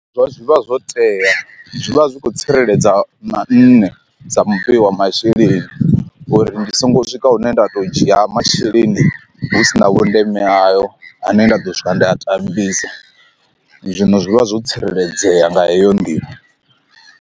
Zwa zwi vha zwo tea zwi vha zwi khou tsireledza na nṋe sa mu wa masheleni uri ndi songo swika hune nda to dzhia masheleni hu sina vhundeme hayo ane nda ḓo swika ndi a tambisa, zwino zwi vha zwo tsireledzea nga heyo nḓila.